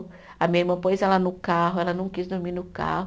A minha irmã pôs ela no carro, ela não quis dormir no carro.